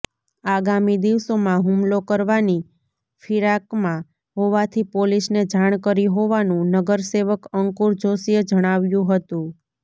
આગામી દિવસોમાં હુમલો કરવાની ફિરાકમાં હોવાથી પોલીસને જાણ કરી હોવાનું નગરસેવક અંકુર જોશીએ જણાવ્યું હતું